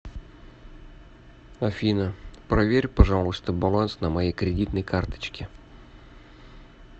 афина проверь пожалуйста баланс на моей кредитной карточке